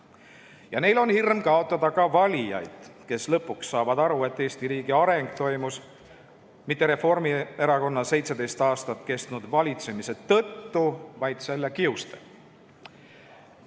Ja neil on hirm kaotada ka valijad, kes lõpuks saavad aru, et Eesti riigi areng ei toimunud mitte Reformierakonna 17 aastat kestnud valitsemise tulemusena, vaid selle kiuste.